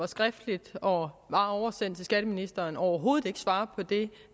var skriftligt og var oversendt til skatteministeren overhovedet ikke svarer på det